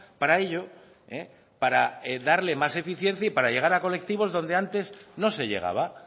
para ello para darle más eficiencia y para llegar a colectivos donde antes no se llegaba